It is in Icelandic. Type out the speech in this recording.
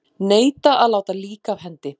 Neita að láta lík af hendi